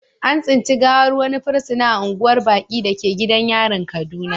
An tsinci gawar wani fursuna a unguwar baƙi da ke gidan yarin kaduna.